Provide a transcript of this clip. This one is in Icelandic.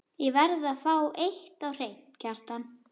Ég verð að fá eitt á hreint, Kjartan.